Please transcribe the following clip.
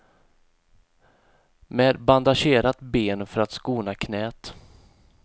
Med bandagerat ben, för att skona knäet.